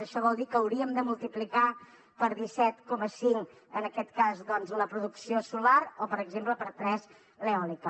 això vol dir que hauríem de multiplicar per disset coma cinc en aquest cas doncs la producció solar o per exemple per tres l’eòlica